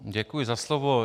Děkuji za slovo.